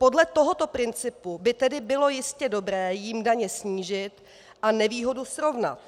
Podle tohoto principu by tedy bylo jistě dobré jim daně snížit a nevýhodu srovnat.